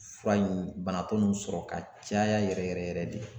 Fura in banabakɔ ninnu sɔrɔ ka caya yɛrɛ yɛrɛ yɛrɛ de.